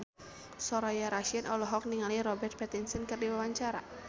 Soraya Rasyid olohok ningali Robert Pattinson keur diwawancara